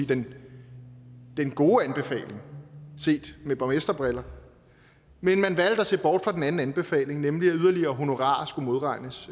den gode anbefaling set med borgmesterbriller men man valgte at se bort fra den anden anbefaling nemlig at yderligere honorarer skulle modregnes